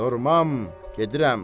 Durmam, gedirəm.